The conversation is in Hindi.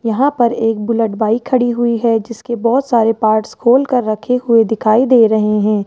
यहां पर एक बुलेट बाइक खड़ी हुई है जिसके बहुत सारे पार्ट्स खोल कर रखे हुए दिखाई दे रहे हैं।